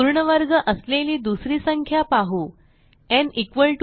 पूर्ण वर्ग असलेली दुसरी संख्या पाहू